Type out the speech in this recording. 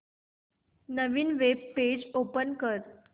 नवीन web page open कर